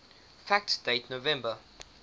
fact date november